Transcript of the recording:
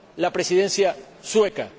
la Presidencia sueca,